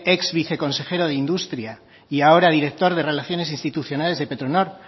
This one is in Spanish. exviceconsejero de industria y ahora director de relaciones institucionales de petronor